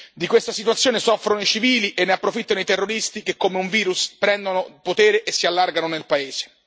Di questa situazione soffrono i civili e ne approfittano i terroristi, che come un virus prendono potere e si allargano nel paese.